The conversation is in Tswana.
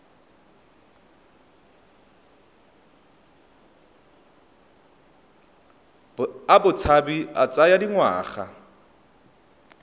a botshabi a tsaya dingwaga